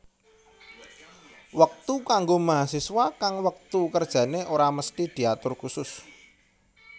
Wektu kanggo mahasiswa kang wektu kerjane ora mesthi diatur kusus